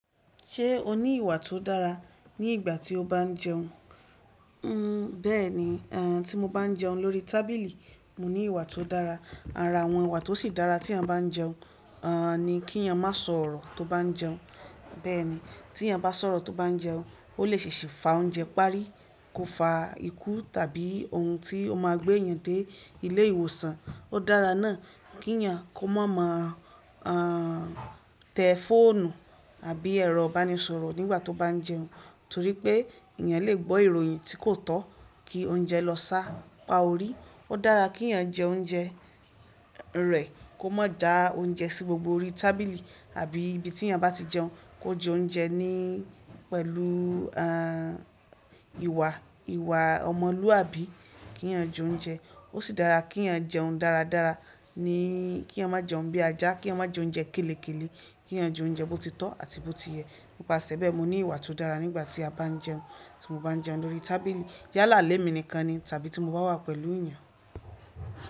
Ṣé o ní ìwà tó dára ní ìgbà tí o bá ń jẹun? Nn bẹ́ẹ̀ni, a tí mo bá ń jẹun lórí tábìlì, mo ní ìwà tó dára. Ara àwọn ìwà tó sì dára tí èèyàn bá ń jẹun, a ni kí èèyàn má sọ̀rọ̀ tó bá ń jẹun. Bẹ́ẹ̀ni tí èèyàn bá sọ̀rọ̀ tó bá ń jẹun, o lè ṣèṣì fa oúnjẹ parí, kó fa ikú tàbí ohun tí ó máa gbé èèyàn dé ilé ìwòsàn. Ó dára náà kí ẹ̀yàn kó máa ma a tẹ fóònù àbí ẹrọ banisọ̀rọ̀ nígbà tó bá ń jẹun, torí pé èèyàn lè gbọ́ ìròyìn tí kò tọ́ kí oúnjẹ lọ sá pá ọ rí. Ó dára kí ẹ̀yàn jẹ oúnjẹ rẹ̀, kó má da oúnjẹ sí gbogbo orí tábìlì àbí ibi tí èèyàn bá ti jẹun, kó jẹ oúnjẹ ní pẹ̀lú a ìwà, ìwà ọmọlúwàbí kí èèyàn jẹ oúnjẹ. Ó sì dára kí èèyàn jẹun dára dára níí, kí èèyàn má jẹun bí ajá, kí èèyàn má jẹ oúnjẹ kélekèlé, kí èèyàn jẹ oúnjẹ bó ti tọ́ àti bó ti yẹ. Nípasẹ̀ bẹ́ẹ̀, mo ní ìwà tó dára nígbà tí a bá ń jẹun, tí mo bá ń jẹun lórí tábìlì, yálàálé mi nìkan ni tàbí tí mo bá wà pẹ̀lú èèyàn.